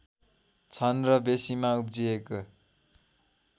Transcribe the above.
छन् र बेँसीमा उब्जिएको